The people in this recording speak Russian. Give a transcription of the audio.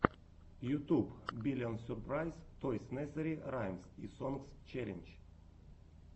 ютуб биллион сюрпрайз тойс несери раймс и сонгс челлендж